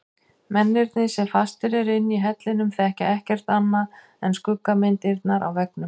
Mennirnir sem fastir eru inni í hellinum þekkja ekkert annað en skuggamyndirnar á veggnum.